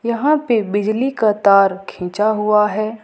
यहां पे बिजली का तार खींचा हुआ है।